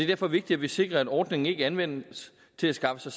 derfor vigtigt at vi sikrer at ordningen ikke anvendes til at skaffe